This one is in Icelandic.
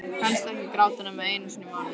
Helst ekki gráta nema einu sinni í mánuði.